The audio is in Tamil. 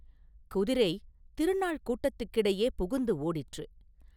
குதிரை, திருநாள் கூட்டத்துக்கிடையே புகுந்து ஓடிற்று.